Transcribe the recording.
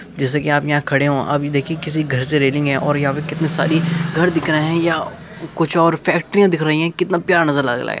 जैसे की आप यहाँ खड़े हो अब ये देखिये किसी घर से रेलिंग है और यहाँ पे कितने सारी घर दिख रहे हैं या कुछ और फैक्ट्रियां दिख रही हैं कितना प्यारा नज़र लाग ला है।